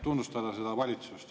… tunnustada seda valitsust.